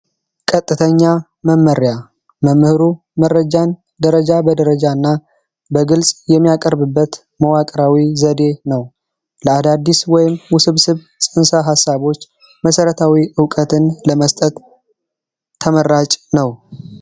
ቀጥተኛ መመሪያ መምህሩ መረጃን ደረጃ በደረጃና የሚያቀርብበት መዋቅራዊ ዘዴ ነው አዳዲስ ወይም ውሰብ ጽንሰ ሀሳቦች መሰረታዊ እውቀትን ለመስጠት ተመራጭ ነው